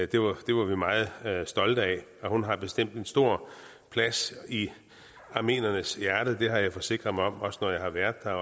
det var det var vi meget stolte af og hun har bestemt en stor plads i armeniernes hjerte det har jeg forsikret mig om når jeg har været der